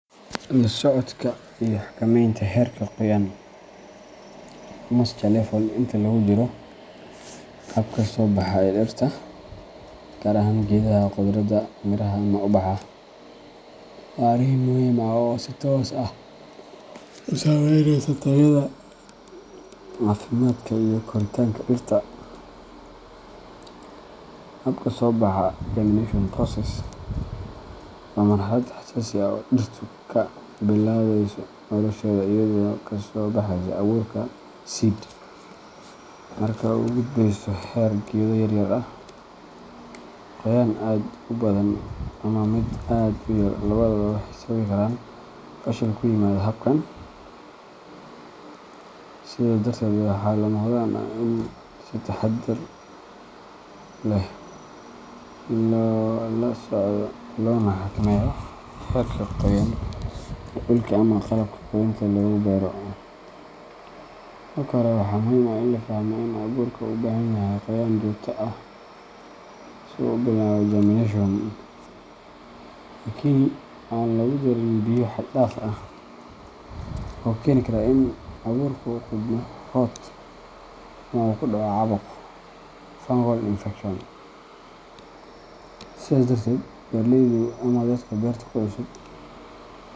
La socodka iyo xakameynta heerka qoyaan moisture level inta lagu jiro habka soo baxa ee dhirta gaar ahaan geedaha khudradda, miraha ama ubaxa waa arrin muhiim ah oo si toos ah u saameynaysa tayada, caafimaadka iyo koritaanka dhirta. Habka soo baxa germination process waa marxalad xasaasi ah oo dhirtu ka bilaabayso nolosheeda iyadoo ka soo baxayso abuurka seed markaasna u gudbeysa heer geedo yaryar ah. Qoyaan aad u badan ama mid aad u yar labadaba waxay sababi karaan fashil ku yimaada habkan, sidaa darteed waxaa lama huraan ah in si taxaddar leh loo la socdo loona xakameeyo heerka qoyaan ee dhulka ama qalabka korinta lagu beero. Marka hore, waxaa muhiim ah in la fahmo in abuurka u baahan yahay qoyaan joogto ah si uu u bilaabo germination, laakiin aan lagu darin biyo xad-dhaaf ah oo keeni kara in abuurku qudhmo rot ama uu ku dhaco caabuq fungal infection. Sidaas darteed, beeraleydu ama dadka beerta ku cusub.